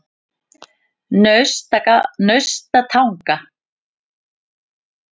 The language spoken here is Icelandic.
Naustatanga